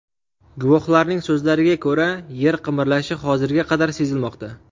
Guvohlarning so‘zlariga ko‘ra, yer qimirlashi hozirga qadar sezilmoqda.